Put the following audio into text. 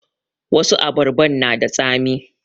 Wasu abarban na da tsami